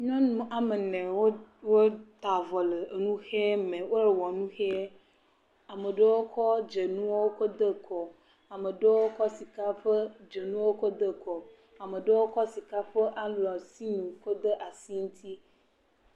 Nyɔnu woame ene wo wota avɔ le nu ʋe me, wo wɔ nu ʋee, ame ɖewo kɔ dzonuwo kɔ de kɔ, ame ɖewo kɔ sika ƒe dzonu wo de kɔ, am ɖewokɔ sika alɔtinu kɔ de asi ŋuti.